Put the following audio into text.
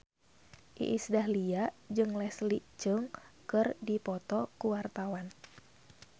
Iis Dahlia jeung Leslie Cheung keur dipoto ku wartawan